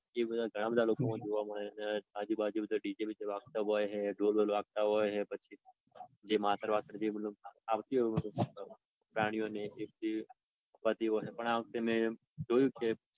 એ બધા ઘણા બધા લોકોમાં જોવા મળે છે. આજુબાજુ બધે ડીજે બીજે વાગતા હોય હે ઢોલ બોલ વાગતા હોય હે. જે માતર બટર આવતી હોય હે પ્રાણીઓની એ થતી હોય એ પણ આ વખતે મેં જોયું કે